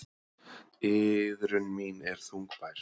Iðrun mín er þungbær.